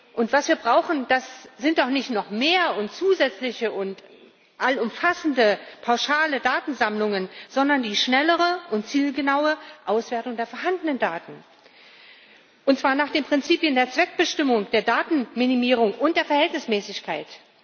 Und was wir brauchen, das sind doch nicht noch mehr und zusätzliche und allumfassende pauschale Datensammlungen, sondern die schnellere und zielgenaue Auswertung der vorhandenen Daten, und zwar nach den Prinzipien der Zweckbestimmung, der Datenminimierung und der Verhältnismäßigkeit.